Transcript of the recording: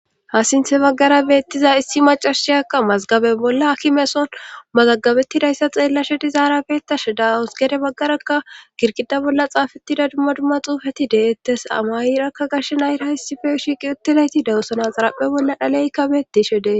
Hasinthe baggara beettiza issi .macashiyakka mazgabe bolla akimeson mazagabettidayssa xeellashe dizaara beettashe dawus gede baggarakka girqida bolla xaafetida dumma dumma xuufati deettes amayirakka gashshenayra hissife shiiqi uttelayti dewusana xaraphe bolla dhaleykka beettishe dee.